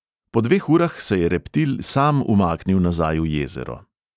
Po dveh urah se je reptil sam umaknil nazaj v jezero.